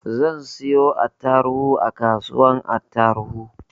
Zan siyo attaruhu a kasuwar tarauni